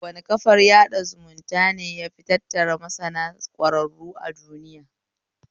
Wane kafar sada zumunta ne yafi tattara masana ƙwararru a duiya?